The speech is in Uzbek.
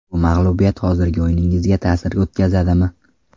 Bu mag‘lubiyat hozirgi o‘yiningizga ta’sir o‘tkazadimi?